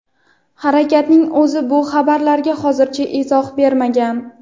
Harakatning o‘zi bu xabarlarga hozircha izoh bermagan.